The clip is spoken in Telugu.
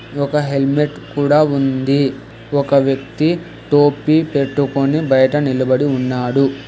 ఒక హెల్మెట్ కూడా ఉంది ఒక వ్యక్తి టోపీ పెట్టుకొని బయట నిలబడి ఉన్నాడు.